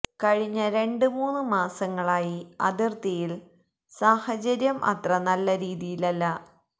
കഴിഞ്ഞ രണ്ട് മൂന്ന് മാസങ്ങളായി അതിർത്തിയിൽ സാഹചര്യം അത്ര നല്ല രീതിയിലല്ല